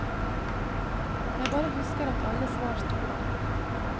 Jeg bare husker at alle svar stod der.